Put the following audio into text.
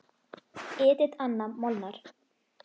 Edit Anna Molnar.